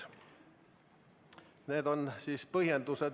Niisugune selgitus siis.